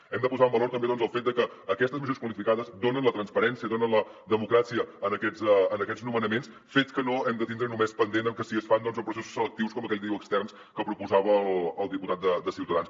hem de posar en valor també el fet de que aquestes majories qualificades donen la transparència donen la democràcia a aquests nomenaments fet que no hem de tindre només pendent de si es fan amb processos selectius com aquell que diu externs que proposava el diputat de ciutadans